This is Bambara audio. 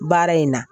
Baara in na